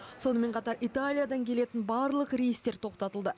сонымен қатар италиядан келетін барлық рейстер тоқтатылды